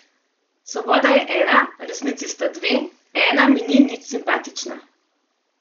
Svoboda je ena , resnici sta dve , ena mi ni nič simpatična .